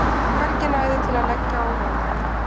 Hvergi næði til að leggja ólöglega